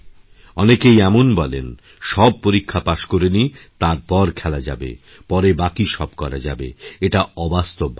অনেকেই এমন বলেন সব পরীক্ষা পাশ করে নিই তারপরখেলা যাবে পরে বাকী সব করা যাবে এটা অবাস্তব ভাবনা